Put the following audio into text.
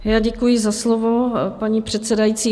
Já děkuji za slovo, paní předsedající.